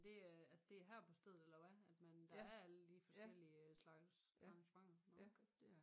Det øh altså det er her på stedet eller hvad at man der er alle de forskellige slags arrangementer nåh okay